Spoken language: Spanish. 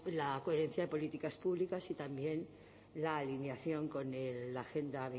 la coherencia de políticas públicas y también la alineación con la agenda